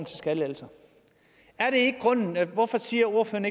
skattelettelser er det ikke grunden hvorfor siger ordføreren